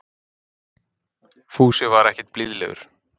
Fúsi var ekkert blíðlegur.